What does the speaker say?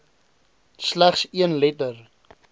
slegs een letter